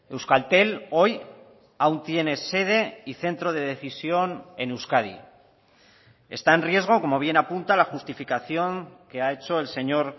euskaltel hoy aún tiene sede y centro de decisión en euskadi está en riesgo como bien apunta la justificación que ha hecho el señor